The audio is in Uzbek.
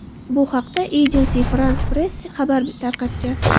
Bu haqda Agence France-Presse xabar tarqatgan .